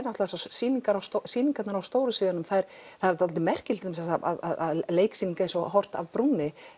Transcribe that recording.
sýningarnar sýningarnar á stóra sviðinu það er það er dálítið merkilegt að leiksýning eins og horft af brúnni